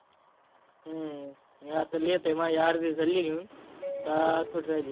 हम्म मी आता लिहितोय माझी अर्धी झाली लिहून आता थोडी राहिली.